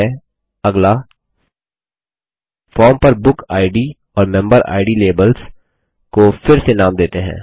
ठीक है अगला फॉर्म पर बुकिड और मेम्बेरिड लेबल्स को फिर से नाम देते है